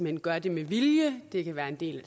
hen gør det med vilje det kan være en del